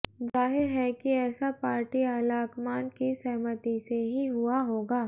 जाहिर है कि ऐसा पार्टी आलाकमान की सहमति से ही हुआ होगा